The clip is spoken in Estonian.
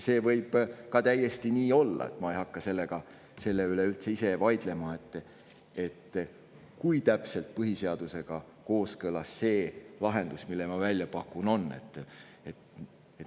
See võib ka täiesti nii olla, ma ei hakka üldse ise vaidlema selle üle, kui täpselt põhiseadusega kooskõlas on see lahendus, mille ma välja pakun.